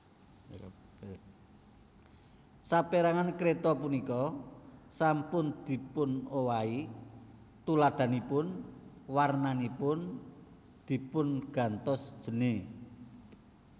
Saperangan kreta punika sampun dipunowahi tuladhanipun warnanipun dipungantos jene